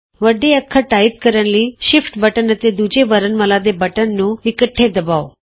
ਵੱਡੇ ਅੱਖਰ ਟਾਈਪ ਕਰਨ ਲਈ ਸ਼ਿਫਟ ਬਟਨ ਅਤੇ ਦੂਜੇ ਵਰਣਮਾਲਾ ਦੇ ਬਟਨ ਨੂੰ ਇਕੱਠੇ ਦਬਾਉ